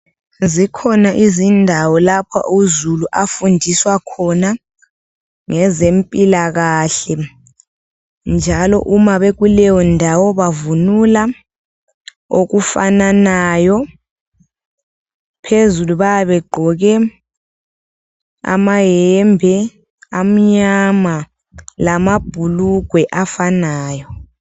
Zikhona izindawo lapha uzulu afundiswa khona ngezempilakahle, njalo uma bekuleyo ndawo bavunula okufananayo , phezulu bayabe begqoke amayembe amnyama lamabhulugwe afanayo.